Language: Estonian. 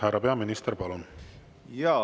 Härra peaminister, palun!